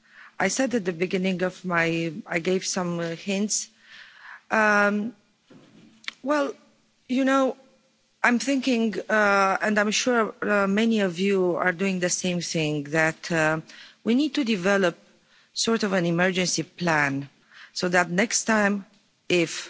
I said in the beginning, I gave some hints, well, you know, I'm thinking, and I'm sure many of you are doing the same thing, that we need to develop a sort of an emergency plan so that next time if,